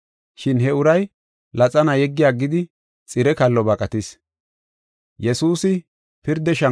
Shin he uray laxana yeggi aggidi, xire kallo baqatis.